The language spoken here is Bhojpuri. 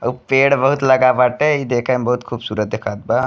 आउ पेड़ बहुत लगा बाटे इ देखे में बहुत खूबसूरत देखात बा।